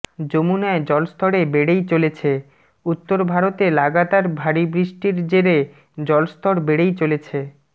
যমুনায় জলস্তরে বেড়েই চলেছে উত্তরভারতে লাগাতার ভারী বৃষ্টির জেরে জলস্তর বেড়েই চলেছে